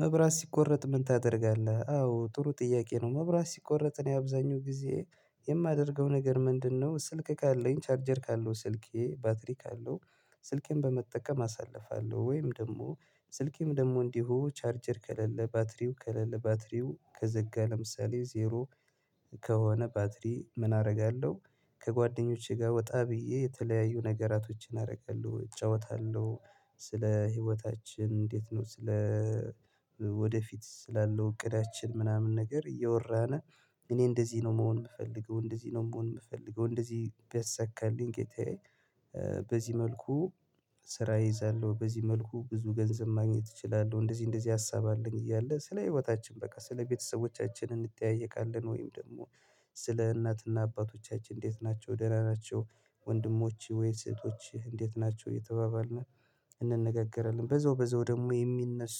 መብራት ሲቆረጥ ምን ታደርጋለህ? አዎ ጥሩ ጥያቄ ነው መብራት ሲቆረጥ ነው የአብዛኛው ጊዜ የማደርገው ነገር ምንድነው ስልክ ካለኝ ቻርጀር ካለው ስልኬ ባትሪ ካለው ስልኬን በመጠቀም አሳልፋለሁ ወይም ደግሞ ስልኬም ደግሞ እንዲሁ ቻርጀር ከለለ ባትሪው ከለለ ባትሪው ከዘጋ ለምሳሌ ዜሮ ከሆነ ባትሪ ምን አደርጋለሁ ከጓደኞቼ ጋር ወጣ ብዬ የተለያዩ ነገራቶችን አደርጋለ፤ እጫወታለሁ ስለ ህይወታችን እንዴት ነው ስለ ወደፊት ስላለው እቅዳችን ምናምን ነገር እየወራን እኔ እንደዚህ ነው መሆን የምፈልገው እንደዚህ ነው መሆን የምፈልገው እንደዚህ ቢያሳካልኝ ጌታዬ በዚህ መልኩ ስራ እይዛለሁ፤ በዚህ መልኩ ብዙ ገንዘብ ማግኘት እችላለሁ እንደዚህ እንደዚህ ሀሳብ አለኝ እያለ ስለ ህይወታችን በቃ ስለ ቤተሰቦቻችን እንጠያየቃለን ወይም ደግሞ ስለ እናትና አባቶቻችን እንዴት ናቸው ደህና ናቸው ወንድሞችህ ወይስ እህቶችህ እንዴት ናቸው እየተባባልን እንነጋገራለን። በዛው በዛው ደግሞ የሚነሱ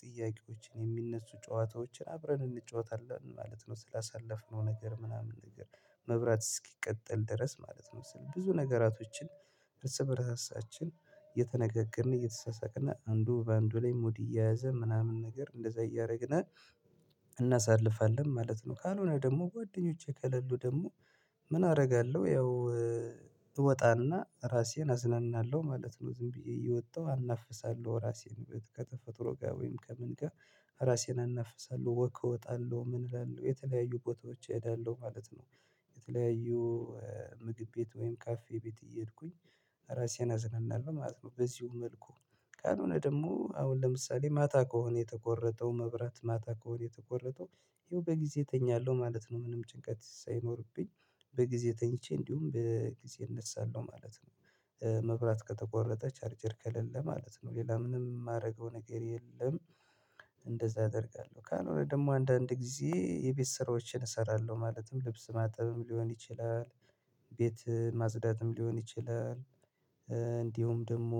ጥያቄዎችን የሚነሱ ጨዋታዎችን አብረን እንጫወታለን ማለት ነው። ስላሳለፍነው ነገር ምናምን ነገር መብራት እስኪቀጥል ድረስ ማለት ነው ስል ብዙ ነገራቶችን ርስ በራሳችን የተነገገርን እየተሳሳቅን እና አንዱ በአንዱ ላይ ሙድ እየያዘ ምናምን ነገር እንደዛ እያደረግን እናሳልፋለን ማለት ነው። ካልሆነ ደግሞ ጓደኞቼ ከሌሉ ደግሞ ምን አደርጋለሁ ያው እወጣና ራሴን አዝነናለሁ ማለት ነው። ዝም ብዬ እየወጣሁ አናፍሳለሁ ራሴን ከተፈጥሮ ጋር ወይም ከምን ጋር ራሴን እናፍሳለሁ። ወክ እወጣለሁ ምን እላለሁ የተለያዩ ቦታዎች እሄዳለሁ ማለት ነው የተለያዩ ምግብ ቤት ወይም ካፌ ቤት እየሄድኩኝ ራሴን አዝናናለሁ ማለት ነው። በዚሁ መልኩ ካልሆነ ደግሞ አሁን ለምሳሌ ማታ ከሆነ የተቆረጠው መብራት ማታ ከሆነ የተቆረጠው ይኸው በጊዜ እተኛለሁ ማለት ነው። ምንም ጭንቀት ሳይኖርብኝ በጊዜ ተኝቼ እንዲሁም በጊዜ እነሳለሁ ማለት ነው። መብራት ከተቆረጠ፤ ቻርጀር ከሌለ ማለት ነው ሌላ ምንም የማደርገው ነገር የለም። እንደ አደርጋለሁ ካልሆነ ደግሞ አንዳንድ ጊዜ የቤት ስራዎችን እሰራለሁ ማለትም ልብስ ማጠብም ሊሆን ይችላል። ቤት ማጽዳትም ሊሆን ይችላል እንዲሁም ደግሞ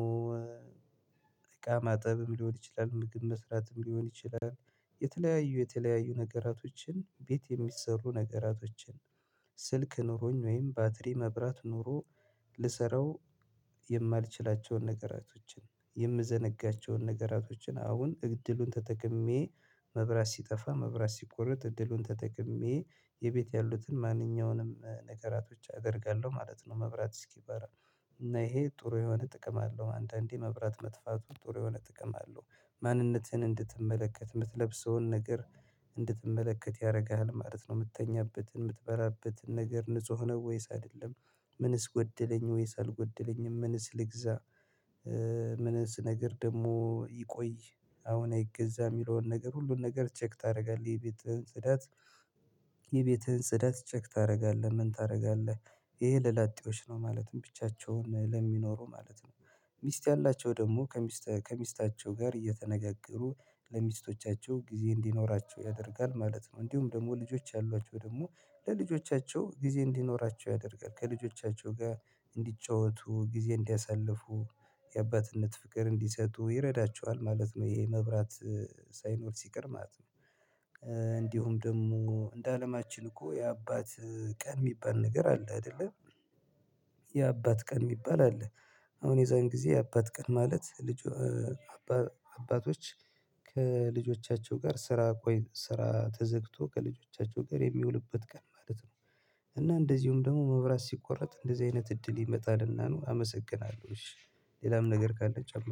እቃ ማጠብም ሊሆን ይችላል፤ ምግብ መስራትም ሊሆን ይችላል፤ የተለያዩ የተለያዩ ነገራቶችን ቤት የሚሰሩ ነገራቶችን ስልክ ኖሮኝ ወይም ባትሪ መብራት ኖሮ ልሰራው የማልችላቸውን ነገራቶችን፣ የምዘነጋቸውን ነገራቶችን አሁን እድሉን ተጠቅሜ መብራት ሲጠፋ መብራት ሲቆረጥ እድሉን ተጠቅሜ የቤት ያሉትን ማንኛውንም ነገራቶች አደርጋለሁ ማለት ነው መብራት እስኪበራ። እና ይሄ ጥሩ የሆነ ጥቅም አለው አንተ። እንዴ! መብራት መጥፋቱ ጥሩ የሆነ ጥቅም አለው። ማንነትህን እንድትመለከ፣ የምትለብሰውን ነገር እንድትመለከት ያደርግሃል ማለት ነው። የምትተኛበትን፣ የምትበራበትን ነገር ንጹህ ነው ወይስ አይደለም ምንስ ጎደለኝ ወይስ አልጎደለኝም ምንስ ልግዛ ነገር ደግሞ ይቆይ አሁን አይገዛም የሚለውን ነገር ሁሉን ነገር ቼክ ታደርጋለህ። የቤትህን ጽዳት የቤትህን ጽዳት ቼክ ታደርጋለህ ምን ታደርጋለህ ይሄ ለላጤዎች ነው ማለትም ብቻቸውን ለሚኖሩ ማለት ነው። ሚስት ያላቸው ደግሞ ከሚስት ከሚስታቸው ጋር እየተነጋገሩ ለሚስቶቻቸው ጊዜ እንዲኖራቸው ያደርጋል ማለት ነው፤ እንዲሁም ደግሞ ልጆች ያሏቸው ደግሞ ለልጆቻቸው ጊዜ እንዲኖራቸው ያደርጋል። ከልጆቻቸው ጋር እንዲጫወቱ፣ ጊዜ እንዲያሳልፉ የአባትነት ፍቅር እንዲሰጡ ይረዳቸዋል ማለት ነው ይሄ መብራት ሳይኖር ሲቀር ማለት ነው፤ እንዲሁ ደግሞ እንደ አለማችን እኮ የአባት ቀን የሚባል ነገር አለ አይደለ? የአባት ቀን የሚባል አለ አሁን የዛን ጊዜ አባት ቀን ማለት ልጅ አባቶች ከልጆቻቸው ጋር ስራ ቆይ ስራ ተዘግቶ ከልጆቻቸው ጋር የሚውልበት ቀን ማለት ነው። እና እንደዚሁም ደግሞ መብራት ሲቆረጥ እንደዚህ አይነት እድል ይመጣልና ነው አመሰግናለሁ። እሺ ሌላም ነገር ካለ ጨመርኩ